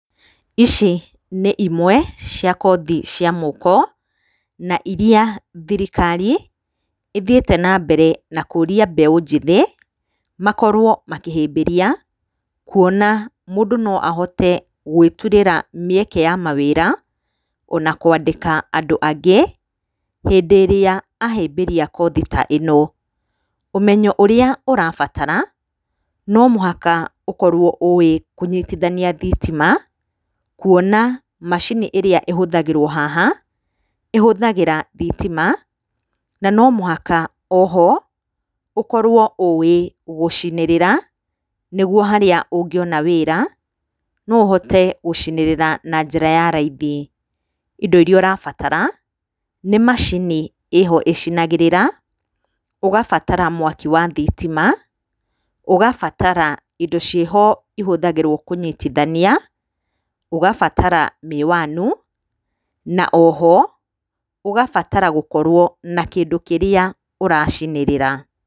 Ici nĩ imwe cia kothi cia moko, na iria thirikari, ĩthiĩte na mbere na kũria mbeũ njĩthĩ, makorwo makĩhĩmbĩria, kuona mũndũ no ahote gwĩturĩra mĩeke ya mawĩra, o na kwandĩka andũ angĩ, hĩndĩ ĩrĩa ahĩmbĩria kothi ta ĩno. Ũmenyo ũrĩa ũrabatara, no mũhaka ũkorwo ũĩ kũnyitithania thitima, kuona macini ĩrĩa ĩhũthagĩrwo haha, ĩhũthagĩra thitima na no mũhaka o ho, ũkorwo ũĩ gũcinĩrĩra, nĩguo harĩa ũngĩona wĩra, no ũhote gũcinĩrĩra na njĩra ya raithi, indo iria ũrabatara, nĩ macini ĩho ĩcinagĩrĩra, ũgabatara mwaki wa thitima, ũgabatara indo ciĩho ihũthagĩrwo kũnyitithania, ũgabatara mĩwani, na o ho, ũgabatara gũkorwo na kĩndũ kĩrĩa ũracinĩrĩra